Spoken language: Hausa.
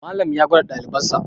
Malam ya gwada ɗalibansa